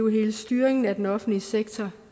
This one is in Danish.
hele styringen af den offentlige sektor